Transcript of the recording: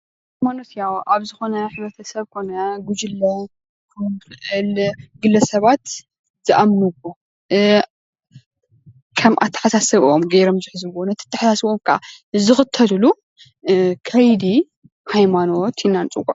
ኣብ ዝኾነ ሕብረተሰብ ኮነ ጉጅለ ግለሰባት ዝኣምንዎ ከም ኣተሓሳስበኦም ገይሮም ዝሕዝዎ ነ ኣተሓሳስበኦም ዝኽተልሉ ከይደ ሃይማኖት ኢልና ንፅዎዖ፡፡